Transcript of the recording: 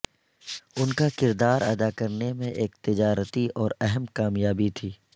ان کا کردار ادا کرنے میں ایک تجارتی اور اہم کامیابی تھی